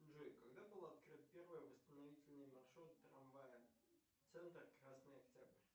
джой когда был открыт первый восстановительный маршрут трамвая центр красный октябрь